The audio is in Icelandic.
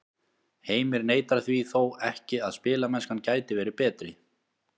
Heimir neitar því þó ekki að spilamennskan gæti verið betri.